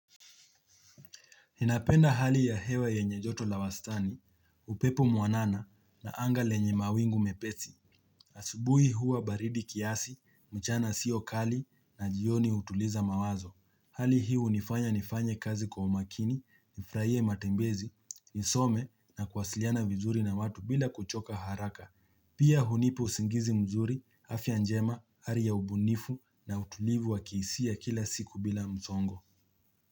Ninapenda hali ya hewa yenye joto la wastani, upepo mwanana na anga lenye mawingu mepesi. Asubui huwa baridi kiasi, mchana siokali na jioni utuliza mawazo. Hali hi hunifanya nifanya kazi kwa umakini, nifurahie matembezi, nisome na kuwasiliana vizuri na watu bila kuchoka haraka. Pia hunipa usingizi mzuri, afya njema, hali ya ubunifu na utulivu wa kihisia kila siku bila mzongo.